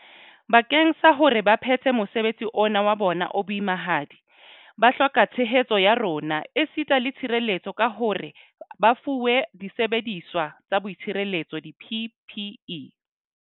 Bakeng sa hore ba phethe mosebetsi ona wa bona o boimahadi, ba hloka tshehetso ya rona esita le tshireletso ka hore ba fuwe disebediswa tsa boitshireletso di-PPE.